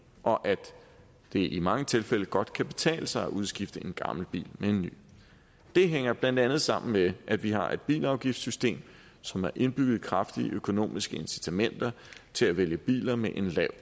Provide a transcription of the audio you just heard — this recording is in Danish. og at det i mange tilfælde godt kan betale sig at udskifte en gammel bil med en ny det hænger blandt andet sammen med at vi har et bilafgiftssystem som har indbygget kraftige økonomiske incitamenter til at vælge biler med en lav